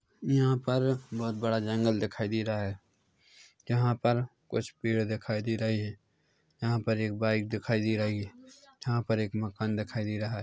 यहाँ पर बहुत बड़ा जंगल दिखाई दे रहा है यहाँ पर कुछ पेड़ दिखाई दे रहे है यहाँ पर एक बाइक दिखाई दे रही है यहाँ पर एक मकान दिखाई दे रहा है।